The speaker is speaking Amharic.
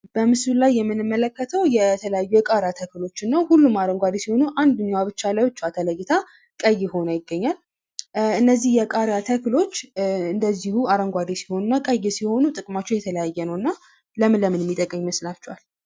በምሥሉ ላይ የምንመለከተው የተለያዩ የቃሪያ ተክሎችን ነው። ሁሉም አረንጓዴ ሲሆኑ፤ አንደኛው ብቻ ለብቻዋ ተለይታ ቀይ ሆና ይገኛል። እነዚህ የቃሪያ ተክሎች እንደዚሁ አረንጓዴ ሲሆኑ እና ቀይ ሲሆኑ ጥቅማቸው የተለያየ ነውና ለምን ለምን የሚጠቅም ይመስላችኋል?